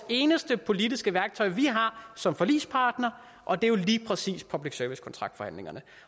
det eneste politiske værktøj vi har som forligspart og det er lige præcis public service kontraktforhandlingerne